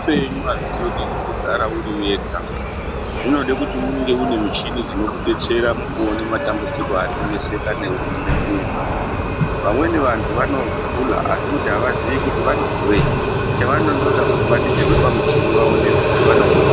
Zveupenyu hazvindodi kundogara uriwega. Zvinode kuti unge unemichini dzinokudetsera mukuone matambudziko arikuneseka newe mumwiiri mako. Vamweni vantu vanogula asikuti havazii kuti vanozweyi chavanondoda kuti vaningirwe pamuchini kuti vaonekwe kuti vanombozweyi .